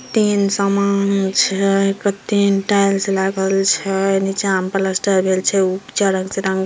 तीन समान छै तीन टाइल्स लागल छै नीचे मा प्लास्टर भएल छै रंग से --